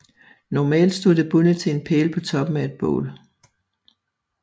Normalt stod det bundet til en pæl på toppen af et bål